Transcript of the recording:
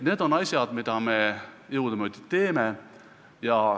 Need on asjad, mida me jõudumööda teeme.